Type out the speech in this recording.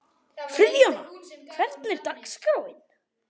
Friðjóna, hvernig er dagskráin?